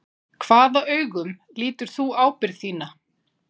Hvaða augum lítur þú ábyrgð þína?